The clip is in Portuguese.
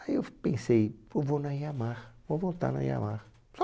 Aí eu f pensei, pô vou na Yamaha, vou voltar na Yamaha.